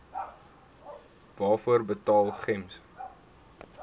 waarvoor betaal gems